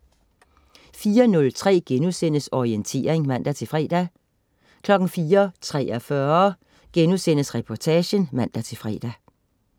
04.03 Orientering* (man-fre) 04.43 Reportagen* (man-fre)